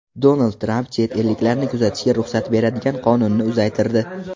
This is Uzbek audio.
Donald Tramp chet elliklarni kuzatishga ruxsat beradigan qonunni uzaytirdi.